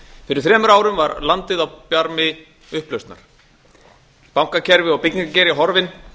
fyrir þremur árum var landið á barmi upplausnar bankakerfið og byggingageirinn horfinn